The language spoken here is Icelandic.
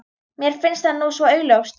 Mér finnst það nú svo augljóst.